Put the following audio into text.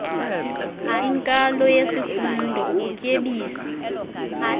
inkalo yesifundo ukutyebisa